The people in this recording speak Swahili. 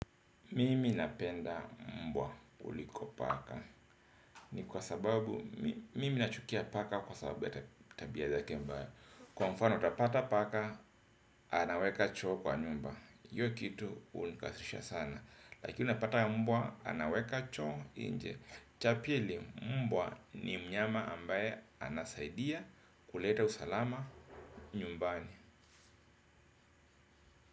Mimi napenda mbwa kuliko paka ni kwa sababu mimi nachukia paka kwa sababu ya tabia zake mbaya. Kwa mfano utapata paka anaweka choo kwa nyumba. Hiyo kitu hunikasirisha sana. Lakini unapata mbwa anaweka choo nje. Cha pili mbwa ni mnyama ambaye anasaidia kuleta usalama nyumbani.